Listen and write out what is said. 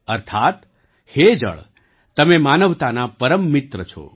અર્થાત્ હે જળ તમે માનવતાના પરમ મિત્ર છો